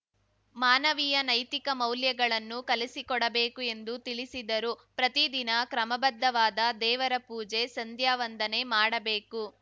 ಮಾನವೀಯ ನೈತಿಕ ಮೌಲ್ಯಗಳನ್ನು ಕಲಿಸಿಕೊಡಬೇಕು ಎಂದು ತಿಳಿಸಿದರು ಪ್ರತಿದಿನ ಕ್ರಮಬದ್ಧವಾದ ದೇವರ ಪೂಜೆ ಸಂಧ್ಯಾವಂದನೆ ಮಾಡಬೇಕು